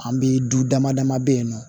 An bi du damadama be yen nɔ